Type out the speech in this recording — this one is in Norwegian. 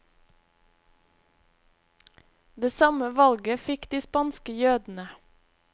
Det samme valget fikk de spanske jødene.